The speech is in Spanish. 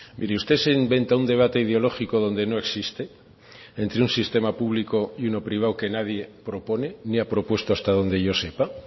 mire usted se inventa un debate ideológico donde no existe entre un sistema público y uno privado que nadie propone ni ha propuesto hasta donde yo sepa